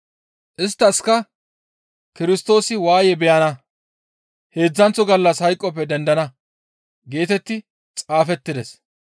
Isttaskka, «Kirstoosi waaye beyana; heedzdzanththo gallas hayqoppe dendana geetetti xaafettides.